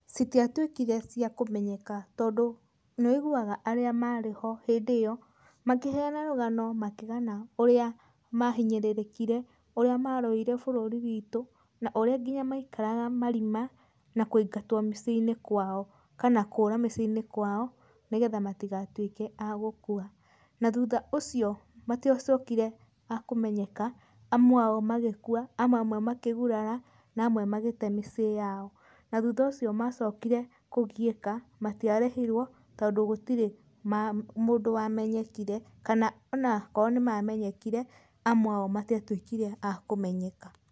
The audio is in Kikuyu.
Citiatuĩkire cia kũmenyeka tondũ nĩwũiguaga arĩa marĩho hĩndĩ ĩyo makĩheana rũgano makĩgana ũrĩa mahinyĩrĩrĩkire urĩa marũire bũrũri witũ na ũrĩa nginya maikaraga marima na kũingatwo mĩciĩnĩ kwao kana kũra mĩciĩnĩ kwao nĩgetha matigatuĩke a gũkua, na thutha ũcio matiacokire a kũmenyeka amwe ao magĩkua, amwe ao makĩgurara, na amwe magĩte mĩciĩ yao na thutha ũcio macokire kũgiĩka matiarĩhitwo tondũ gũtirĩ maa mũndũ wamenyekire, kana onakorwo nĩmamenyakanire amwe ao matiatuĩkire a kũmenyeka.